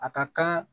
A ka kan